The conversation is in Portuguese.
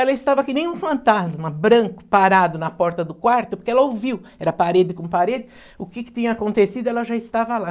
Ela estava que nem um fantasma, branco, parado na porta do quarto, porque ela ouviu, era parede com parede, o que que tinha acontecido, ela já estava lá.